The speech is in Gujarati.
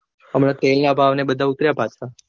હમણાં તેલ ના ભાવ ને બધા ઉતર્યા પાછા.